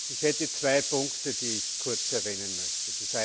Ich habe zwei Punkte, die ich kurz erwähnen möchte.